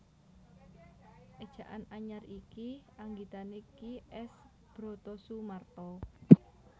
Éjaan Anyar iki anggitané Ki S Brotosumarto